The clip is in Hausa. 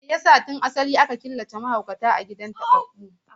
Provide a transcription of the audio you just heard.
Me yasa sa tun asali aka fara killace mahaukata a gidajen tababbu?